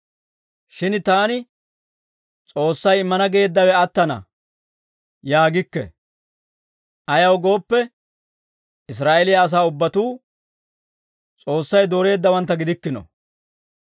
Shin taani, «S'oossay immana geeddawe attana» yaagikke. Ayaw gooppe, Israa'eeliyaa asaa ubbatuu S'oossay dooreeddawantta gidikkino.